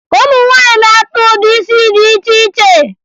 Ụmụ nwaanyị na-akpa ụdị isi dị iche iche